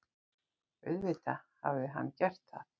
Auðvitað hafði hann gert það.